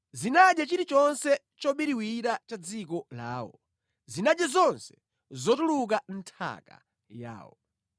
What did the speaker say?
zinadya chilichonse chobiriwira cha mʼdziko lawo, zinadya zonse zotuluka mʼnthaka yawo.